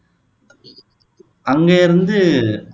அங்க இருந்து